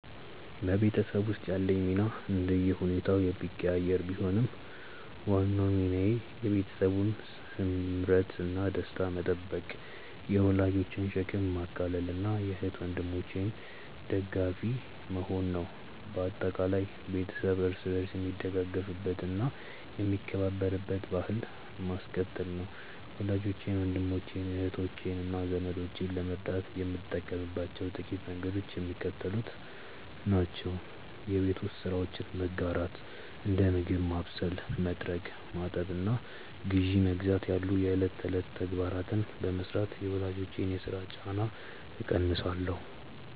በቤተሰብ ውስጥ ያለኝ ሚና እንደየሁኔታው የሚቀያየር ቢሆንም፣ ዋናው ሚናዬ የቤተሰቡን ስምረትና ደስታ መጠበቅ፣ የወላጆችን ሸክም ማቃለልና የእህት ወንድሞቼ ደጋፊ መሆን ነው። በአጠቃላይ፣ ቤተሰብ እርስ በርስ የሚደጋገፍበትና የሚከባበርበትን ባሕል ማስቀጠል ነው። ወላጆቼን፣ ወንድሞቼን፣ እህቶቼንና ዘመዶቼን ለመርዳት የምጠቀምባቸው ጥቂት መንገዶች የሚከተሉት ናቸው የቤት ውስጥ ስራዎችን መጋራት፦ እንደ ምግብ ማብሰል፣ መጥረግ፣ ማጠብና ግዢ መግዛት ያሉ የዕለት ተዕለት ተግባራትን በመሥራት የወላጆችን የሥራ ጫና እቀንሳለሁ